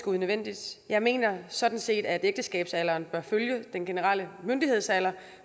unødvendigt jeg mener sådan set at ægteskabsalderen bør følge den generelle myndighedsalder